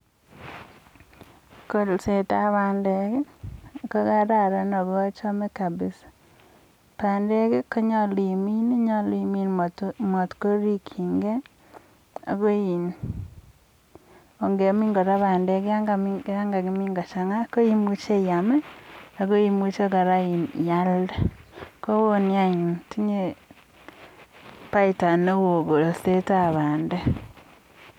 kolset ap pandek kokaran akochame kabisaa nyolu imin akirip marikchike ako ngemin pandek ngochanga koimuchi kora ialde tinye faida neo kolset ap pandek